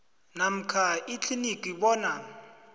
namkha ikliniki bona